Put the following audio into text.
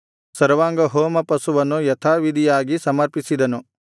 ಸರ್ವಾಂಗಹೋಮ ಪಶುವನ್ನು ಯಥಾವಿಧಿಯಾಗಿ ಸಮರ್ಪಿಸಿದನು